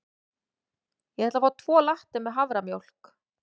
Ég ætla að fá tvo latte með haframjólk.